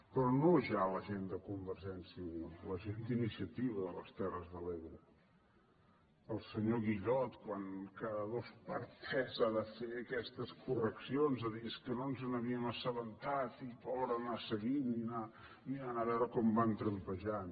però no ja la gent de convergència i unió la gent d’iniciativa de les terres de l’ebre el senyor guillot quan cada dos per tres ha de fer aquestes correccions de dir és que no ens n’havíem assabentat i pobre anar seguint i anar mirant a veure com van trampejant